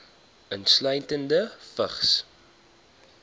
insluitende vigs